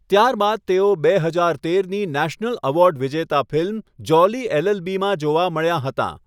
ત્યારબાદ તેઓ બે હજાર તેરની નેશનલ એવોર્ડ વિજેતા ફિલ્મ 'જોલી એલએલબી' માં જોવા મળ્યાં હતાં.